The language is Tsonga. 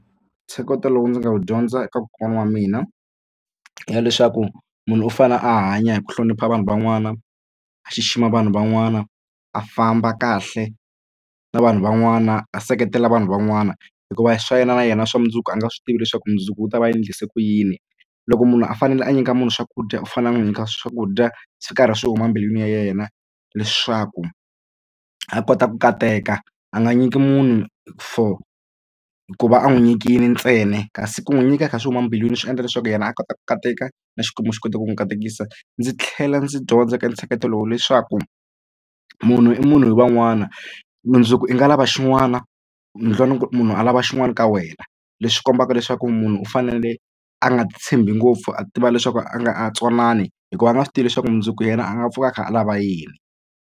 Ntsheketo lowu ndzi nga wu dyondza eka kokwana wa mina i ya leswaku munhu u fane a hanya hi ku hlonipha vanhu van'wana a xixima vanhu van'wana a famba kahle na vanhu van'wana a seketela vanhu van'wana hikuva swa yena na yena swa mundzuku a nga swi tivi leswaku mundzuku u ta va endlise ku yini. Loko munhu a fanele a nyika munhu swakudya u fanele a n'wi nyika swakudya swi karhi swi huma embilwini ya yena leswaku a kota ku kateka. A nga nyiki munhu for ku va a n'wi nyikile ntsena kasi ku n'wi nyika kha swi huma embilwini swi endla leswaku yena a kota ku kateka na Xikwembu xi kota ku n'wi katekisa. Ndzi tlhela ndzi dyondza ka ntsheketo lowu leswaku munhu i munhu hi van'wana mundzuku i nga lava xin'wana mundlwana ku munhu a lava xin'wana ka wena leswi kombaka leswaku munhu u fanele a nga titshembi ngopfu a tiva leswaku a nga tsonani hikuva a nga swi tivi leswaku mundzuku yena a nga pfuka a kha a lava yini.